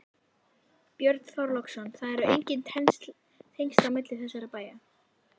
Björn Þorláksson: Það eru engin tengsl á milli þessara bæja?